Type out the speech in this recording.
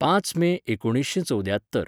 पांच मे एकुणीसशेंचवद्यात्तर